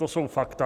To jsou fakta.